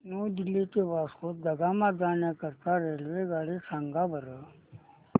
new Delhi ते वास्को द गामा जाण्या करीता रेल्वेगाडी सांगा बरं